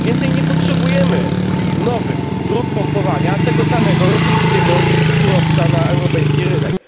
Nie potrzebujemy więcej nowych dróg pompowania tego samego, rosyjskiego surowca na europejski rynek.